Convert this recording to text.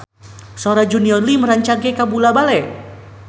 Sora Junior Liem rancage kabula-bale